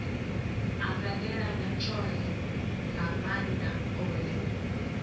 anganelana tshohe ha maana ohe